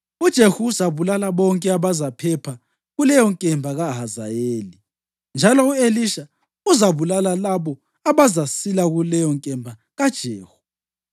UJehu uzabulala bonke abazaphepha kuleyonkemba kaHazayeli, njalo u-Elisha uzabulala labo abazasila kuleyonkemba kaJehu.